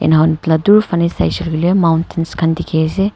dur phane saishe koile mountains khan dikhi ase.